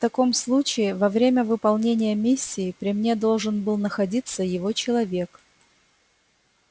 в таком случае во время выполнения миссии при мне должен был находиться его человек